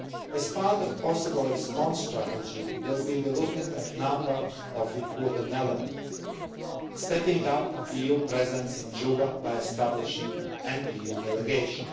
As part of a possible response strategy, we will be looking at a number of important elements stepping up the EU presence in Juba by establishing an EU delegation